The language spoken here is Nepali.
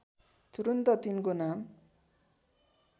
तुरून्त तिनको नाम